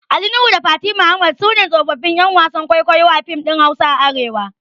Ali Nuhu da Fati Muhammad suna tsofaffin ƴan wasan kwaikwayo a fim ɗin Hausa a arewa